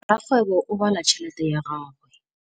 Rakgwêbô o bala tšheletê ya gagwe.